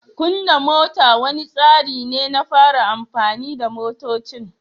Kunna mota wani tsari ne na fara amfani da motocin.